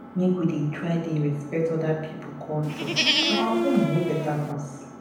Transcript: make we dey try respect oda pipo culture our own no beta pass.